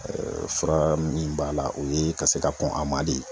fura min b'a la, o ye ka se ka kɔn a ma de.